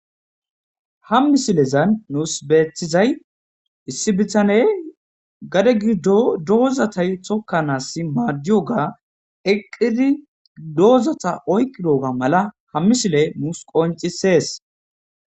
ha miisiilezan nuus betizay issi bitaney gade giddo dozata tokanasi madiyooga eqqidi doozata oyqqidogga mala ha miisiiley nuus qoncisees